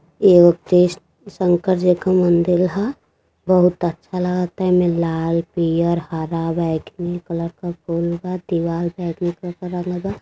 एगो कृष्ण शंकर जी क मंदिर ह। बहुत अच्छा लागता एमे लाल पियर हरा बैगनी कलर के फूल बा। दीवाल बैगनी कलर मे बा।